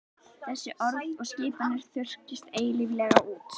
Svo orð þess og skipanir þurrkist eilíflega út.